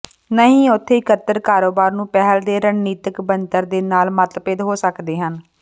ਨਹੀ ਉੱਥੇ ਇੱਕਤਰ ਕਾਰੋਬਾਰ ਨੂੰ ਪਹਿਲ ਦੇ ਰਣਨੀਤਕ ਬਣਤਰ ਦੇ ਨਾਲ ਮਤਭੇਦ ਹੋ ਸਕਦੇ ਹਨ